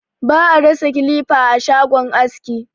Ba a rasa kilifa a shagon aski.